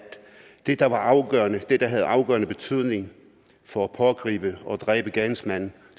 det der var afgørende og det der havde afgørende betydning for at pågribe og dræbe gerningsmanden